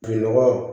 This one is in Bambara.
Nɔgɔ